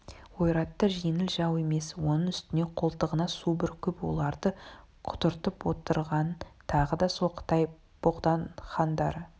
ойраттар жеңіл жау емес оның үстіне қолтығына су бүркіп оларды құтыртып отырған тағы да сол қытай богдахандары